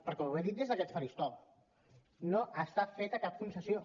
perquè ho he dit des d’aquest faristol no hi ha feta cap concessió